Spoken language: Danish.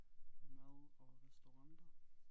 Mad og restauranter